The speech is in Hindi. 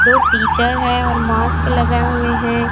दो टीचर है और मास्क लगाए हुए है।